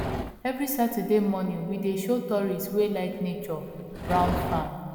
every saturday morning we dey show tourists wey like nature round farm